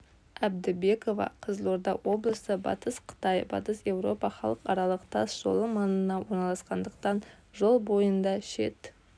әбдібекова қызылорда облысы батыс қытай батыс еуропа халықаралық тас жолы маңына орналасқандықтан жол бойында шет